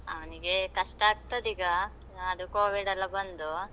ಅವ್ನಿಗೆ ಕಷ್ಟ ಆಗ್ತದೀಗ, ಆ ಅದು Covid ಎಲ್ಲ ಬಂದು.